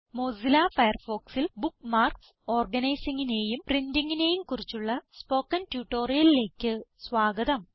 Mozilla Firefoxൽ bookmarks organizingനേയും printingനേയും കുറിച്ചുള്ള സ്പോക്കൺ ട്യൂട്ടോറിയലിലേക്ക് സ്വാഗതം